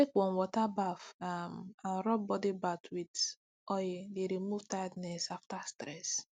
to take warm water baff um and rub body bath with oil dey remove tiredness after stress